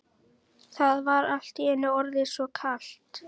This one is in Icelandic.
Það var allt í einu orðið svo kalt.